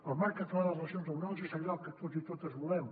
el marc català de relacions laborals és allò que tots i totes volem